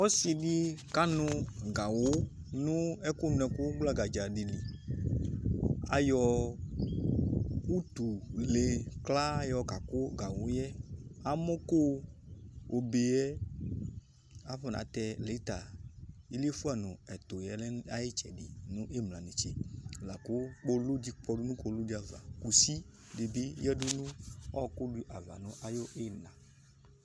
Ɔsɩ dɩ kanʋ gawʋ nʋ ɛkʋnʋɛkʋ gblagadza dɩ li Ayɔ utule kla yɔkakʋ gawʋ yɛ Amɔko obe yɛ afɔnatɛ lɩta iliefuǝ nʋ ɛtʋ yɛ lɛ nʋ ayʋ ɩtsɛdɩ nʋ ɩmla netse la kʋ kpolu dɩ kɔdʋ nʋ kpolu dɩ ava, kusi dɩ bɩ yǝdu nʋ ɔɣɔkʋ dɩ ava nʋ ayʋ ɩɣɩna